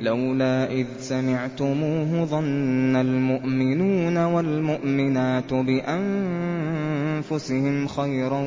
لَّوْلَا إِذْ سَمِعْتُمُوهُ ظَنَّ الْمُؤْمِنُونَ وَالْمُؤْمِنَاتُ بِأَنفُسِهِمْ خَيْرًا